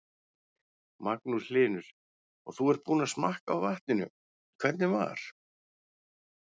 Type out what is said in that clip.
Magnús Hlynur: Og þú ert búinn að smakka á vatninu, hvernig var?